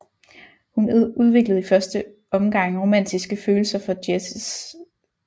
Hun udviklede i første ongang romantiske følelser for Jesse St